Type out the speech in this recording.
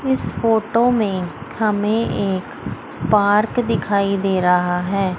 इस फोटो में हमें एक पार्क दिखाई दे रहा हैं।